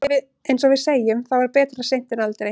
Eins og við segjum, þá er betra seint en aldrei.